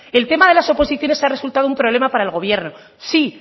el tema de las oposiciones ha resultado un problema para el gobierno sí